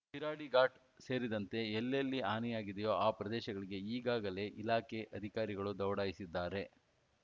ಶಿರಾಡಿಘಾಚ್‌ ಸೇರಿದಂತೆ ಎಲ್ಲೆಲ್ಲಿ ಹಾನಿಯಾಗಿದೆಯೋ ಆ ಪ್ರದೇಶಗಳಿಗೆ ಈಗಾಗಲೇ ಇಲಾಖೆ ಅಧಿಕಾರಿಗಳು ದೌಡಾಯಿಸಿದ್ದಾರೆ